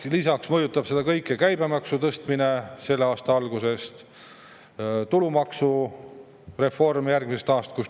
Lisaks mõjutab kõike käibemaksu tõstmine selle aasta algusest, samuti tulumaksureform järgmisest aastast.